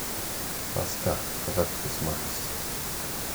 Paska, kaka Krismas,